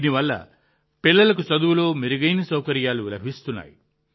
దాని వల్ల పిల్లలకు చదువులో మెరుగైన సౌకర్యాలు లభిస్తున్నాయి